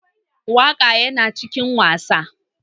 Waka Yana cikin wasa.